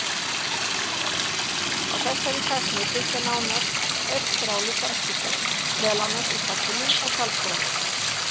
Á þessari tækni byggja nánast öll þráðlaus samskipti, meðal annars í farsímum og talstöðvum.